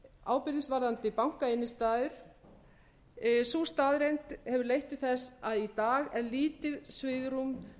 ábyrgðist varðandi bankainnstæður sú staðreynd hefur leitt til þess að í dag er lítið svigrúm